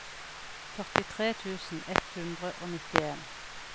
førtitre tusen ett hundre og nittien